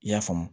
I y'a faamu